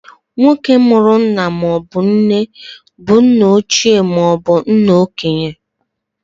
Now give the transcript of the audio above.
Nwoke mụrụ nna maọbụ nne bụ nna ochie maobu nna okenye.